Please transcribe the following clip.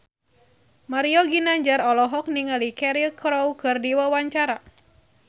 Mario Ginanjar olohok ningali Cheryl Crow keur diwawancara